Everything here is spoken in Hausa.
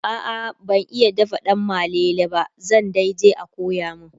a'a ban iya dafa danmalele ba zan daije a koya min